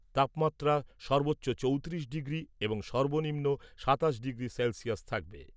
তাপমাত্রা সর্বোচ্চ চৌত্রিশ ডিগ্রি এবং সর্বনিম্ন সাতাশ ডিগ্রি সেলসিয়াস থাকবে ।